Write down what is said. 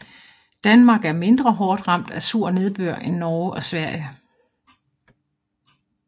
Danmark er mindre hårdt ramt af sur nedbør end Norge og Sverige